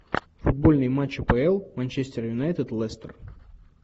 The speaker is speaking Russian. футбольный матч апл манчестер юнайтед лестер